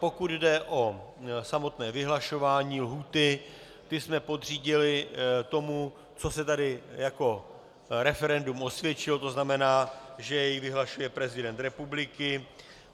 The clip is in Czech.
Pokud jde o samotné vyhlašování lhůty, to jsme podřídili tomu, co se tady jako referendum osvědčilo, to znamená, že jej vyhlašuje prezident republiky.